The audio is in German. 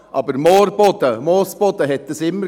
Aber Moorboden, Moosboden gab es immer.